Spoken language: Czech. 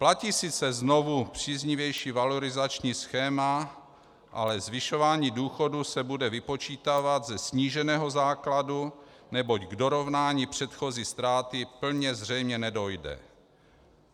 Platí sice znovu příznivější valorizační schéma, ale zvyšování důchodů se bude vypočítávat ze sníženého základu, neboť k dorovnání předchozí ztráty plně zřejmě nedojde.